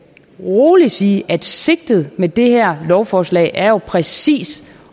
rolig sige at sigtet med det her lovforslag jo præcis